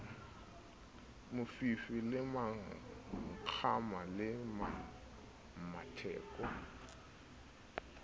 mofifi le mmakgama le mmatheko